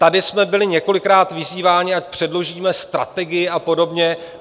Tady jsme byli několikrát vyzýváni, ať předložíme strategii a podobně.